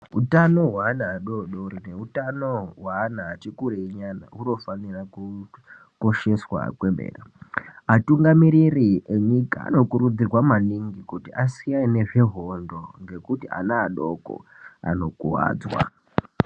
Utano hweana adodori neutano hweana atikurei nyana hunofanira kukosheswa kwemene. Atungamiriri enyika anokurudzirwa maningi kuti asiyane nezvehondo ngekuti ana adoko anokuwadzwa.